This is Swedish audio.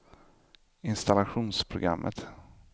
installationsprogrammet